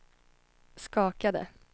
skakade